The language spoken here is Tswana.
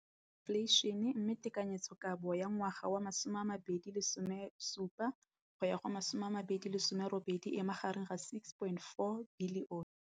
Infleišene, mme tekanyetsokabo ya 2017, 18, e magareng ga R6.4 bilione.